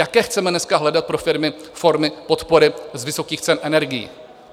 Jaké chceme dneska hledat pro firmy formy podpory z vysokých cen energií?